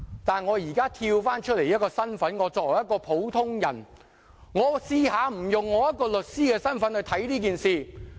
但我現在從律師身份抽身出來，作為一個普通人，我嘗試不以律師身份看這件事。